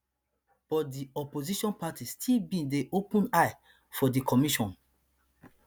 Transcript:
but di opposition party still bin dey open eye for di commission